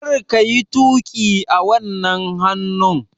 Kar ka yi tuƙi a wannan hannun!